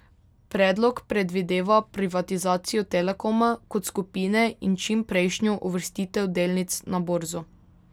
Predlog predvideva privatizacijo Telekoma kot skupine in čimprejšnjo uvrstitev delnic na borzo.